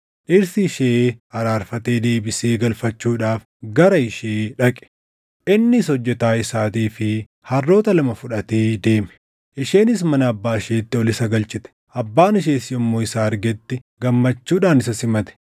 dhirsi ishee araarfatee deebisee galfachuudhaaf gara ishee dhaqe. Innis hojjetaa isaatii fi harroota lama fudhatee deeme. Isheenis mana abbaa isheetti ol isa galchite; abbaan ishees yommuu isa argetti gammachuudhaan isa simate.